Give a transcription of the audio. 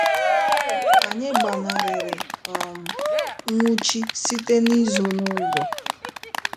Anyị gbanarịrị um nnwụchi site n'izo n'ụzọ..